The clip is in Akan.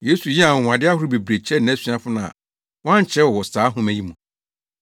Yesu yɛɛ anwonwade ahorow bebree kyerɛɛ nʼasuafo no a wɔankyerɛw wɔ saa nhoma yi mu.